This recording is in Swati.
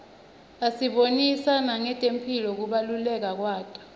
asibonisa nangetemphilo kubaluleka kwato